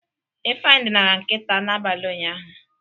Ifeanyị dinara nkịta n'abalị ụnyaahụ.